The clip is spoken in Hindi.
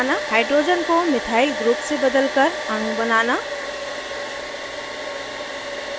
* hydrogen को methyl group से बदलकर अणु बनाना